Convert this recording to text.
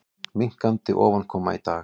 Minnkandi ofankoma í dag